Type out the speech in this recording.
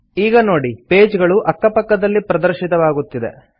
ಈಗ ನೋಡಿ ಪೇಜ್ ಗಳು ಅಕ್ಕ ಪಕ್ಕದಲ್ಲಿ ಪ್ರದರ್ಶಿತವಾಗುತ್ತಿದೆ